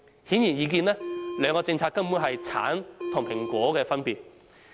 顯而易見，兩項政策根本是橙和蘋果的分別。